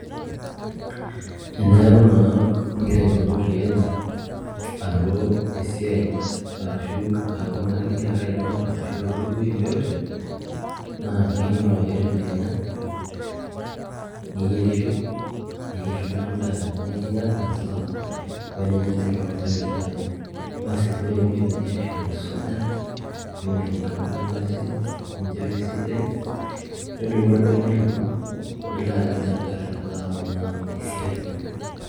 Teeku naa ingira aipang'u tiaji alo esiai arashu aaku naa ingira ake aipang' arashu alo wuei yeyote naa kainyitoto ake tedekenya niyierisho ayierr duo endaa ninya ina saa oo eninyan ade toonkulie saai, basi ore pee indip ateyierisho nisuja niosh nkilani pasi ninchopo esidai nidumu orbene lino nilo aked engarri naa alo esiai.